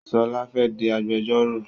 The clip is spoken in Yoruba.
Ṣọlá fẹ́ di agbẹjọ́rò.